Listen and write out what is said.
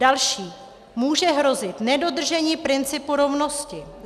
Další - může hrozit nedodržení principu rovnosti.